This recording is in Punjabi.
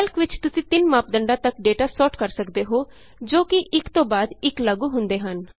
ਕੈਲਕ ਵਿਚ ਤੁਸੀਂ ਤਿੰਨ ਮਾਪਦੰਡਾਂ ਤਕ ਡੇਟਾ ਸੋਰਟ ਕਰ ਸਕਦੇ ਹੋ ਜੋ ਕਿ ਇਕ ਤੋਂ ਬਾਅਦ ਇਕ ਲਾਗੂ ਹੁੰਦੇ ਹਨ